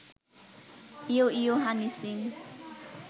ইয়ো yo Honey Singh